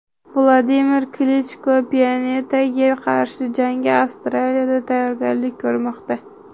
Vladimir Klichko Pianetaga qarshi jangga Avstriyada tayyorgarlik ko‘rmoqda .